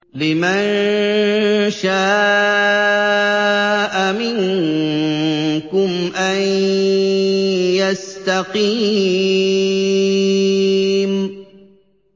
لِمَن شَاءَ مِنكُمْ أَن يَسْتَقِيمَ